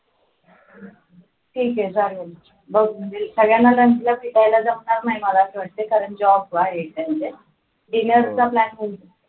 ठीक आहे चालेल बघ म्हणजे सगळ्यांना जमणार नाही मला असं वाटते कारण job आहे dinner plan